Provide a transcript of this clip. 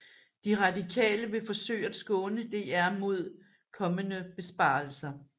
De Radikale vil forsøge at skåne DR mod kommende besparelser